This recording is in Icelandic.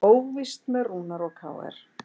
Óvíst með Rúnar og KR